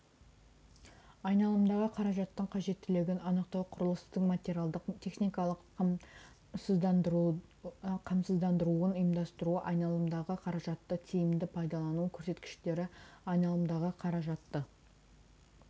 айналымдағы қаражаттың қажеттілігін анықтау құрылыстың материалдық техникалық қамсыздандыруын ұйымдастыру айналымдағы қаражатты тиімді пайдалану көрсеткіштері айналымдағы қаражатты